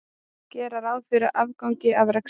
Gera ráð fyrir afgangi af rekstri